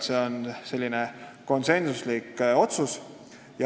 See on konsensuslik otsus.